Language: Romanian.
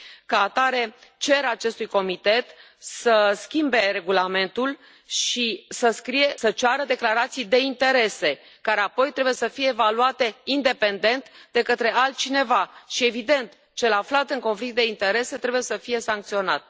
Ca atare, cer acestui comitet să schimbe regulamentul și să ceară declarații de interese, care apoi trebuie să fie evaluate independent de către altcineva și, evident, cel aflat în conflict de interese trebuie să fie sancționat.